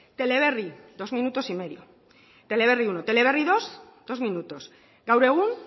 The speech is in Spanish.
teleberri dos minutos y medio teleberri uno teleberri dos dos minutos gaur egun